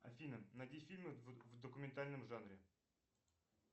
афина найди фильмы в документальном жанре